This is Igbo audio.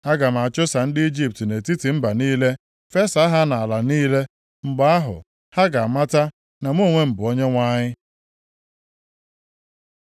Aga m achụsa ndị Ijipt nʼetiti mba niile, fesaa ha nʼala niile. Mgbe ahụ, ha ga-amata na mụ onwe m bụ Onyenwe anyị.”